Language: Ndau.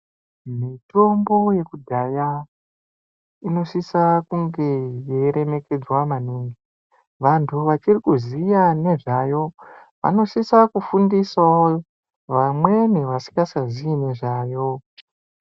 Mitombo yekudhaya inosisa kunge yei remekedzwa maningi vantu vachiri kuziya nezvayo anosisa kufundisawo vamweni vasingacha zivi nezvayo.